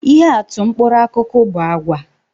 Ihe atụ mkpụrụ akụkụ bu àgwà